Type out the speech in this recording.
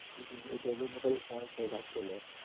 એ tablet માં કદી phone જ નઈ લાગતો લ્યા.